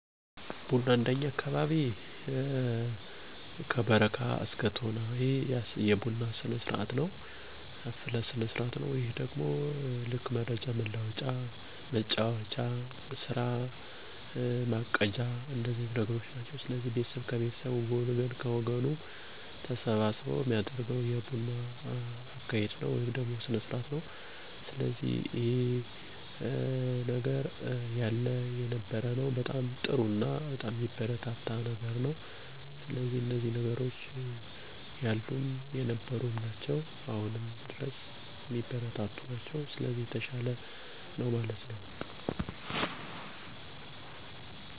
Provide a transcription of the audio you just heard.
የቡና ሰርሞኒ ከቀረበ በኃላ ሁለት እና በላይ ሰዎች ወይም ጎረቤት የጠራሉ ከዛ ከአቦል እስከ በረካ እየጠጡ የተለያዩ ወሬዎች፣ መረጃዎችነ፣ ጨዋታወችን ይወያያሉ